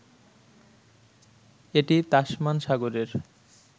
এটি তাসমান সাগরের